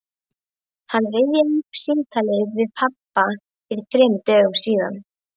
Hann rifjaði upp símtalið við pabba fyrir þremur dögum síðan.